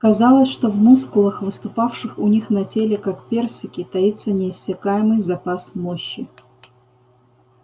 казалось что в мускулах выступавших у них на теле как персики таится неиссякаемый запас мощи